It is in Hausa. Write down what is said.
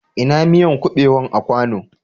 Ina miyan kubewan a kwanu?